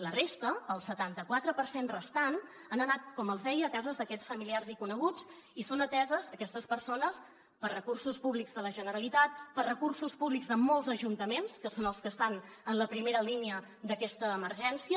la resta el setanta quatre per cent restant han anat com els deia a cases d’aquests familiars i coneguts i són ateses aquestes persones per recursos públics de la generalitat per recursos públics de molts ajuntaments que són els que estan en la primera línia d’aquesta emergència